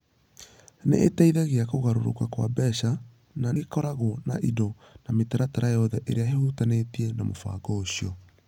Nĩ ĩteithagia kũgarũrũka kwa mbeca, na nĩ ĩkoragwo na indo na mĩtaratara yothe ĩrĩa ĩhutanĩtie na mũbango ũcio.